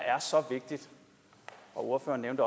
ordføreren